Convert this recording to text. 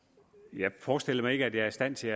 jeg forestiller mig ikke at jeg er i stand til